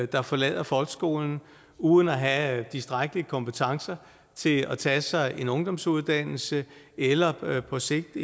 der forlader folkeskolen uden at have tilstrækkelige kompetencer til at tage sig en ungdomsuddannelse eller på sigt